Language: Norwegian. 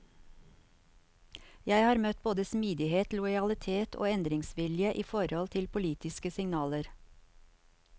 Jeg har møtt både smidighet, lojalitet og endringsvilje i forhold til politiske signaler.